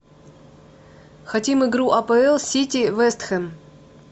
хотим игру апл сити вест хэм